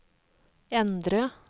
endre